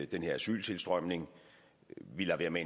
den her asyltilstrømning vi lader være med